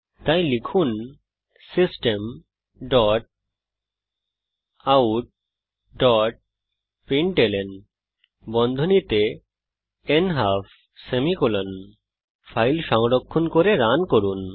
তাই লিখুন systemoutপ্রিন্টলন ফাইল সংরক্ষণ করে রান করুন